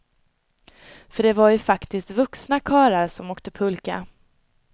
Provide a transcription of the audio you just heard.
För det är ju faktiskt vuxna karlar som åker pulka.